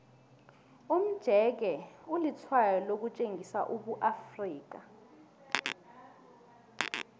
umjeke ulitshwayo lokutjengisa ubuafrika